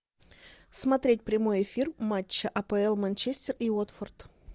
смотреть прямой эфир матча апл манчестер и уотфорд